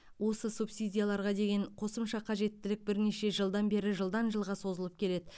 осы субсидияларға деген қосымша қажеттілік бірнеше жылдан бері жылдан жылға созылып келеді